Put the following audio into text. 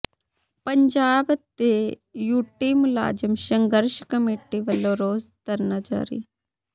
ਪੰਜਾਬ ਤੇ ਯੂਟੀ ਮੁਲਾਜ਼ਮ ਸੰਘਰਸ਼ ਕਮੇਟੀ ਵੱਲੋਂ ਰੋਸ ਧਰਨਾ ਜਾਰੀ